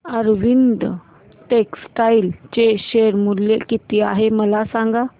Arvind textile चे share मूल्य किती आहे मला सांगा